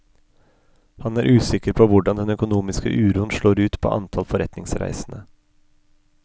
Han er usikker på hvordan den økonomiske uroen slår ut på antall forretningsreisende.